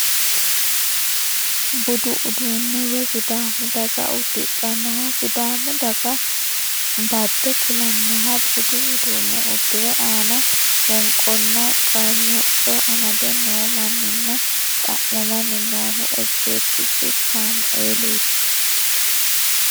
Budu uduunne woy sidaamu daga uddidhannoha sidaamu daga bade kulannoha budu uduunne uddire ana wonqonna qalacvo amade noo manninna xa'mamanni noohu ejjeettichu saamueeliiti.